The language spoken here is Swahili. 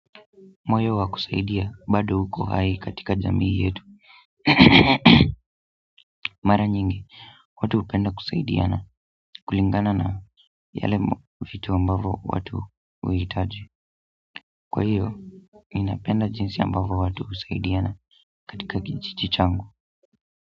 Moyo wa kusaidia bado uko hai katika jamii yetu mara nyingi, watu hupenda kusaidia na kulingana na yale vitu ambavo watu huhitaji kwa hiyo, ninapenda jinsi ambavyo watu husaidiana katika kijiji changu.